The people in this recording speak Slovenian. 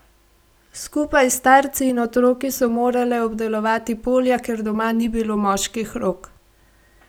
Skupaj s starci in otroki so morale obdelovati polja, ker doma ni bilo moških rok.